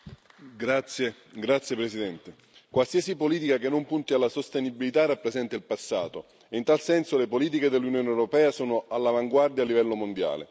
Signora Presidente, onorevoli colleghi, qualsiasi politica che non punti alla sostenibilità rappresenta il passato, e in tal senso le politiche dell'Unione europea sono all'avanguardia a livello mondiale.